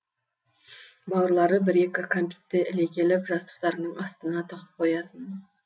бауырлары бір екі кәмпитті іле келіп жастықтарының астына тығып қоятын